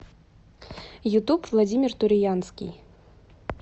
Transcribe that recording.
ютуб владимир туриянский